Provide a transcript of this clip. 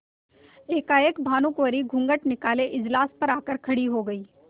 एकाएक भानुकुँवरि घूँघट निकाले इजलास पर आ कर खड़ी हो गयी